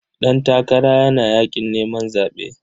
Ɗantakara yana yaƙin neman zaɓe.